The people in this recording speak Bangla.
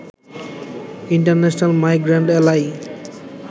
international migrant এ্যালাই